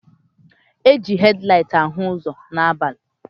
Eji hed laịt ahụ ụzọ n'abalị.